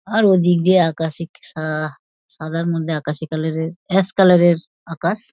আর ওদিক দিয়ে আকাশে সা সাদার মধ্যে আকাশে আকাশী কালার -এর অ্যাশ কালার -এর আকাশ |